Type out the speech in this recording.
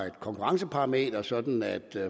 et konkurrenceparameter sådan at